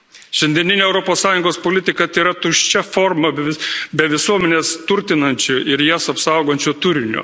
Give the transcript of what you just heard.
Šiandieninė Europos Sąjungos politika tėra tuščia forma be visuomenės turtinančio ir jas apsaugančio turinio.